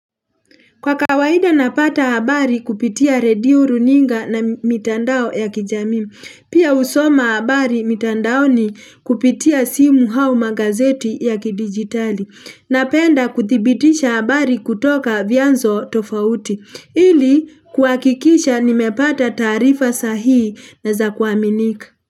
Kwa kawaida napata habari kupitia Redio runinga na mitandao ya kijamii Pia husoma habari mitandaoni kupitia simu hau magazeti ya kidigitali. Napenda kuthibitisha habari kutoka vyanzo tofauti. Ili kuhakikisha nimepata taarifa sahii na za kuaminika.